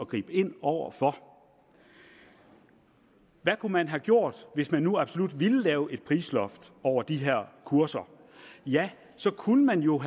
gribe ind over for hvad kunne man have gjort hvis man nu absolut ville lave et prisloft over de her kurser ja så kunne man jo